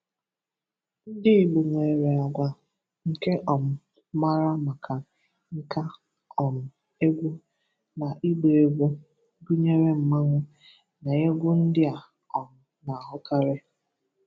Ndị Igbo nwere àgwà nke um mara maka nka, um egwu, na ịgba egwu, gụnyere Mmanwu na egwu ndị a um na-ahụkarị.